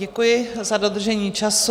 Děkuji za dodržení času.